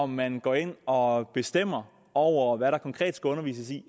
man går ind og bestemmer over hvad der konkret skal undervises i